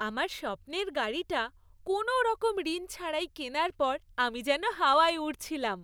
আমার স্বপ্নের গাড়িটা কোনওরকম ঋণ ছাড়াই কেনার পর আমি যেন হাওয়ায় উড়ছিলাম।